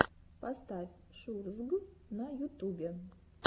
поставь шурзг на ютубе